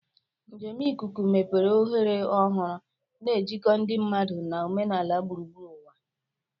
Njem ikuku mepere ohere ọhụrụ, na-ejikọ ndị mmadụ na omenala gburugburu ụwa.